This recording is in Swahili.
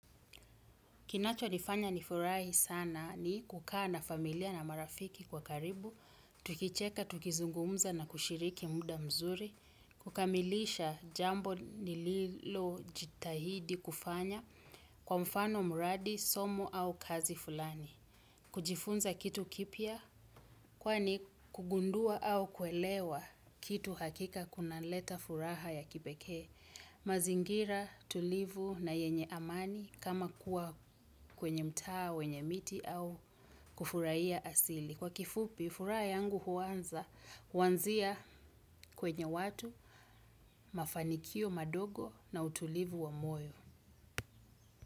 Kinacho nifanya nifurahi sana ni kukaa na familia na marafiki kwa karibu, tukicheka, tukizungumza na kushiriki muda mzuri, kukamilisha jambo nililo jitahidi kufanya kwa mfano muradi, somo au kazi fulani. Kujifunza kitu kipya kwani kugundua au kuelewa kitu hakika kunaleta furaha ya kipekee. Mazingira tulivu na yenye amani kama kuwa kwenye mtaa wenye miti au kufuraia asili. Kwa kifupi, furaha yangu huanza kuanzia kwenye watu mafanikio madogo na utulivu wa moyo.